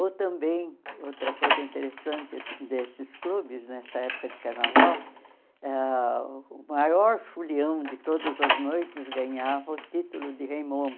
Ou também, outra coisa interessante esse desses clubes, nessa época de carnaval, ah o maior folião de todas as noites ganhava o título de rei Momo.